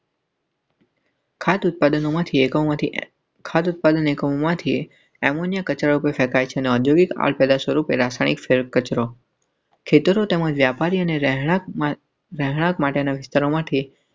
આટલું પાતળુંમાંથી એકમાંથી ખાતર પાડીને કહ્યુંમાંથી એમોનિયા કચરો ફેંકાય છે. ઔદ્યોગિક આપડા સ્વરૂપે રાસાયણીક ફ઼િલ્મ કચરો ખેતરો તેમજ વ્યાપારી અને રહેણાંક. ઓમાંથી.